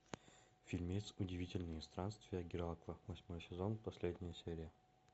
фильмец удивительные странствия геракла восьмой сезон последняя серия